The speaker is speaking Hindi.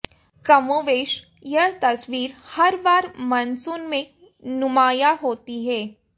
कमोबेश यह तस्वीर हर बार मानसून में नुमाया होती है